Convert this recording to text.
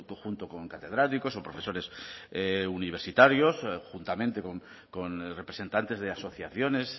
junto con catedráticos o profesores universitarios juntamente con representantes de asociaciones